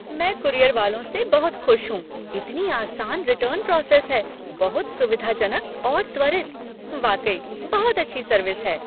मैं कूरियर वालों से बहुत खुश हूँ, इतनी आसान रिटर्न प्रोसेस है, बहुत सुविधाजनक और त्वरित। वाकई बहुत अच्छी सर्विस है।